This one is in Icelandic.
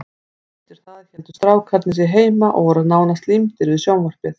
Eftir það héldu strákarnir sig heima og voru nánast límdir við sjónvarpið.